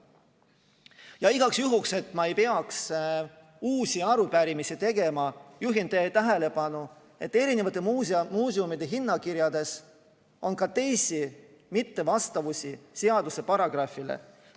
Ja igaks juhuks, et ma ei peaks uusi arupärimisi tegema, juhin teie tähelepanu sellele, et eri muuseumide hinnakirjades on ka teisi mittevastavusi seaduse paragrahvile.